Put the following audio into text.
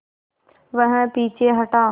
वह पीछे हटा